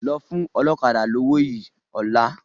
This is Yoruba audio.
Lọ fún ọlọ́kadà lówó yìí ọ́la!